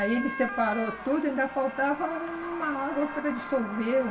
Aí ele separou tudo, ainda faltava uma água para dissolver.